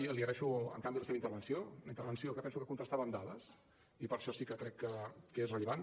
i li agraeixo en canvi la seva intervenció una intervenció que penso que contrastava amb dades i per això sí que crec que és rellevant